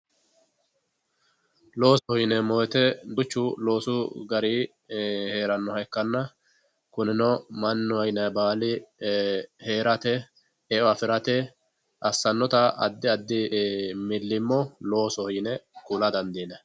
loosoho yineemmo woyite duuchu loosu gari heerannoha ikkanna kunino mannaho yinayi baali heerate e'o afirate assannota addi addi millimmo loosoho yine kula dandiinanni